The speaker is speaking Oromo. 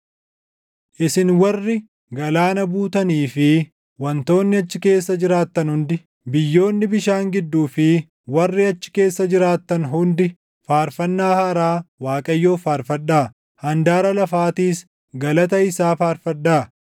Isin warri galaana buutanii fi wantoonni achi keessa jiraattan hundi, biyyoonni bishaan gidduu fi warri achi keessa jiraattan hundi, faarfannaa haaraa Waaqayyoof faarfadhaa; handaara lafaatiis galata isaa faarfadhaa.